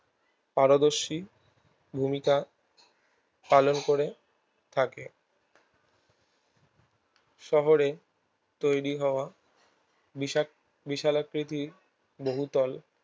পারদর্শী ভূমিকা পালন করে থাকে শহরে তৈরী হওয়া বিস বিশালাকৃতির বহুতল